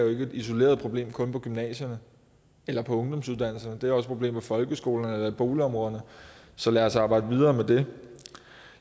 et isoleret problem kun på gymnasierne eller på ungdomsuddannelserne det er også et problem på folkeskolerne eller i boligområderne så lad os arbejde videre med det